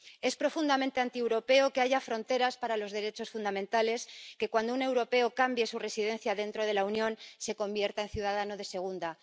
Es profundamente antieuropeo que haya fronteras para los derechos fundamentales, que cuando un europeo cambie su residencia dentro de la Unión se convierta en ciudadano de segunda.